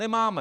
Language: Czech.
Nemáme.